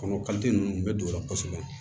Kɔnɔ ninnu bɛ don o la kosɛbɛ